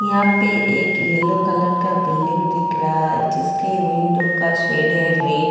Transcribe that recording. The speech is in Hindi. यहा पे एक येल्लो कलर का बिल्डिंग दिख रहा है जिसके विंडो का शेड है रेड ।